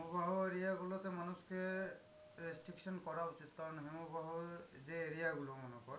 হিমবাহ area গুলোতে মানুষ কে restriction করা উচিত। কারণ হিমবাহ যে area গুলো মনে কর